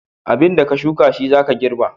Abinda ka shuka shi zaka girba